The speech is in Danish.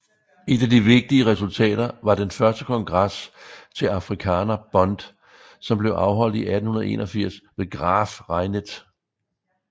Et af de vigtigste resultater var den første kongres til Afrikaner Bond som blev afholdt i 1881 ved Graaf Reinet